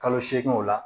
Kalo seeginw la